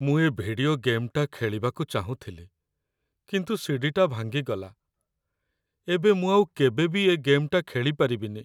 ମୁଁ ଏ ଭିଡିଓ ଗେମ୍‌ଟା ଖେଳିବାକୁ ଚାହୁଁଥିଲି, କିନ୍ତୁ ସି.ଡି.ଟା ଭାଙ୍ଗିଗଲା । ଏବେ ମୁଁ ଆଉ କେବେ ବି ଏ ଗେମ୍‌ଟା ଖେଳିପାରିବିନି ।